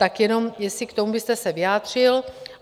Tak jenom jestli k tomu byste se vyjádřil.